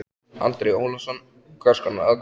Andri Ólafsson: Hvers konar aðkomu?